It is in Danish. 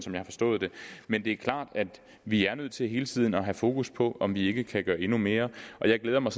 jeg har forstået det men det er klart at vi er nødt til hele tiden at have fokus på om vi ikke kan gøre endnu mere og jeg glæder mig